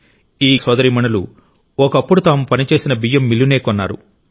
ఈ గిరిజన సోదరీమణులు ఒకప్పుడు తాము పనిచేసిన బియ్యం మిల్లునే కొన్నారు